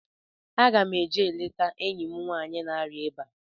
Aga m eje leta enyi m nwaanyị na-arịa ọrịa ịba